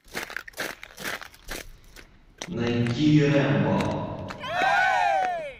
найти рембо